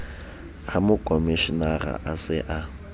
ha mokomshenara a se a